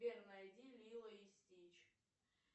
сбер найди лило и стич